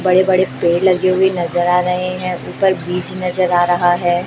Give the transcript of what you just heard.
बड़े बड़े पेड़ लगे हुए नजर आ रहे हैं ऊपर ब्रिच नजर आ रहा है।